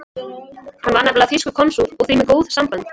Hann var nefnilega þýskur konsúll og því með góð sambönd.